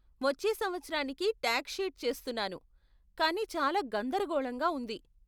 వచ్చే సంవత్సరానికి tax sheet చేస్తున్నాను కానీ చాలా గందరగోళంగా ఉంది.